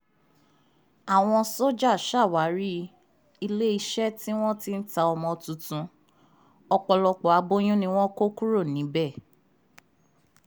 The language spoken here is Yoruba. àwọn sójà ṣàwárí iléeṣẹ́ tí wọ́n ti ń ta ọmọ tuntun ọ̀pọ̀lọpọ̀ aboyún ni wọ́n kó kúrò níbẹ̀